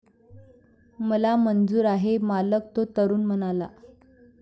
मला मंजूर आहे, मालक, तो तरुण म्हणाला.